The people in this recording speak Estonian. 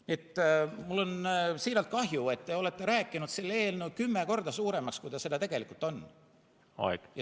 Nii et mul on siiralt kahju, et te olete rääkinud selle eelnõu kümme korda suuremaks, kui ta tegelikult on.